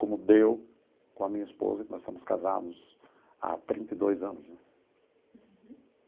Como deu com a minha esposa, que nós estamos casados há trinta e dois anos, né?